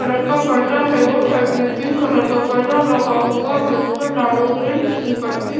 colour का पर्दा है और साइड में पिंक कलर का पर्दा लगा हुआ है ऊपर लाल ऑरेंज की पट्टी --